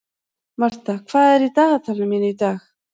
Martha, hvað er í dagatalinu mínu í dag?